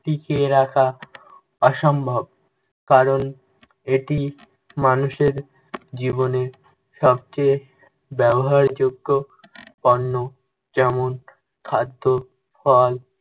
টিকিয়ে রাখা অসম্ভব। কারণ এটি মানুষের জীবনের সবচেয়ে ব্যবহারযোগ্য পণ্য যেমন খাদ্য, ফল